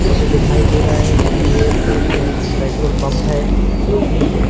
मुझे दिखाई दे रहा है कि ये एक पेट्रोल पंप है जो कि--